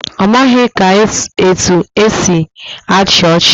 Ọ maghị ka etu esi achị ọchị